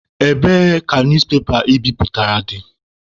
Ebee ka newspepa I biputere dị?